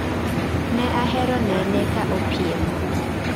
Ne ahero nene ka opiem